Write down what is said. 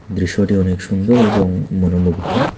দৃশ্যটি অনেক সুন্দর এবং মনোমুগ্ধ।